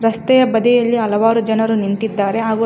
ರಸ್ತೆ ಬದಿಯಲ್ಲಿ ಹಲವಾರು ಜನರು ನಿಂತಿದ್ದಾರೆ ಹಾಗು--